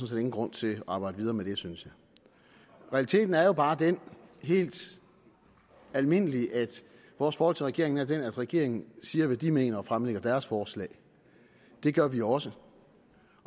set ingen grund til at arbejde videre med synes jeg realiteten er jo bare den helt almindelige at vores forhold til regeringen er det at regeringen siger hvad de mener og fremlægger deres forslag det gør vi også